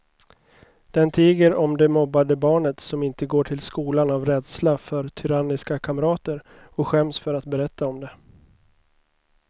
Den tiger om det mobbade barnet som inte går till skolan av rädsla för tyranniska kamrater och skäms för att berätta om det.